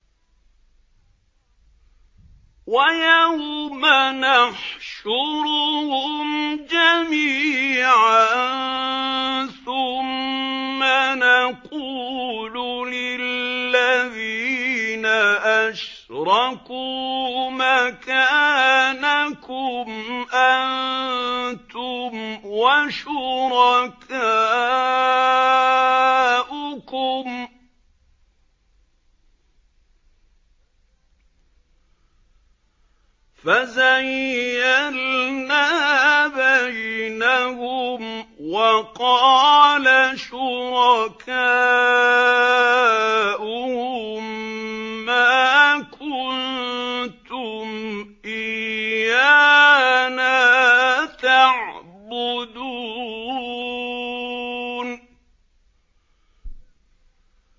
وَيَوْمَ نَحْشُرُهُمْ جَمِيعًا ثُمَّ نَقُولُ لِلَّذِينَ أَشْرَكُوا مَكَانَكُمْ أَنتُمْ وَشُرَكَاؤُكُمْ ۚ فَزَيَّلْنَا بَيْنَهُمْ ۖ وَقَالَ شُرَكَاؤُهُم مَّا كُنتُمْ إِيَّانَا تَعْبُدُونَ